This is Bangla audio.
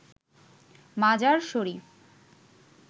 মাজার শরীফ